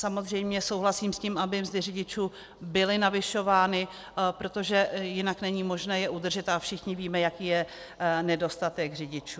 Samozřejmě souhlasím s tím, aby mzdy řidičů byly navyšovány, protože jinak není možné je udržet, a všichni víme, jaký je nedostatek řidičů.